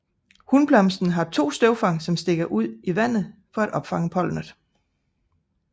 Hunblomsterne har 2 støvfang som stikker ud i vandet for at opfange pollenet